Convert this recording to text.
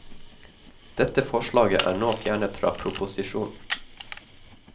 Dette forslaget er nå fjernet fra proposisjonen.